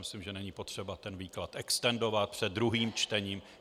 Myslím, že není potřeba ten výklad extendovat před druhým čtením.